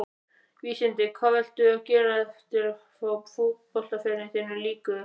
Vísindi Hvað viltu gera þegar að fótboltaferli þínum lýkur?